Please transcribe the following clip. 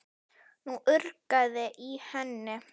Nú urgaði í henni.